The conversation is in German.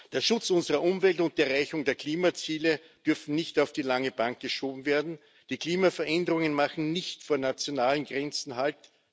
Der Schutz unserer Umwelt und die Erreichung der Klimaziele dürfen nicht auf die lange Bank geschoben werden. Die Klimaveränderungen machen nicht vor nationalen Grenzen halt.